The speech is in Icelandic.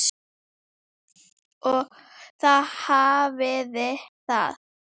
Og þá hafiði það!